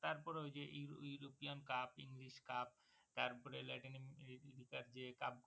তারপরেও যে ওই european cup, english cup তারপরে যে cup গুলো